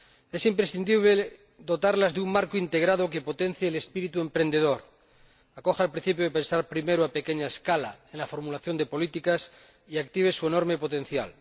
Es imprescindible dotarlas de un marco integrado que potencie el espíritu emprendedor, acoja el principio de pensar primero a primera escala en la formulación de políticas y active su enorme potencial.